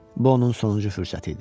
Bu onun sonuncu fürsəti idi.